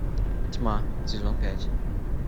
тьма сезон пять